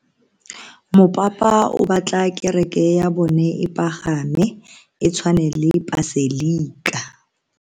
Mopapa o batla kereke ya bone e pagame, e tshwane le paselika.